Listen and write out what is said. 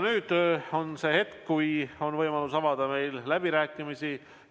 Nüüd on see hetk, kui on võimalus avada läbirääkimised.